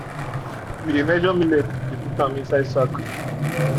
we measure millet we dey put am inside sack.